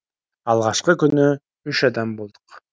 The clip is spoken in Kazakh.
алғашқы күні үш адам болдық